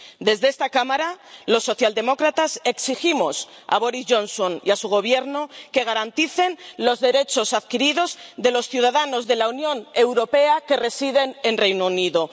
Desde esta Cámara los socialdemócratas exigimos a Boris Johnson y a su Gobierno que garanticen los derechos adquiridos de los ciudadanos de la Unión Europea que residen en el Reino Unido.